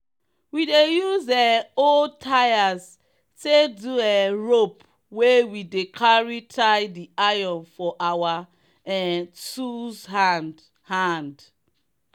we dey use um old tyres take do um rope wey we dey carry tie the iron for our um tools hand. hand.